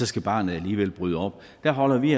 skal barnet alligevel bryde op der holder vi